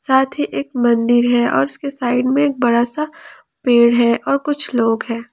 साथ ही एक मंदिर है और उसके साइड में एक बड़ा सा पेड़ है और कुछ लोग है।